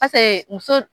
muso